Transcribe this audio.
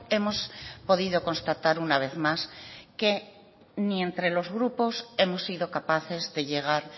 hemos podido constatar una vez más que ni entre los grupos hemos sido capaces de llegar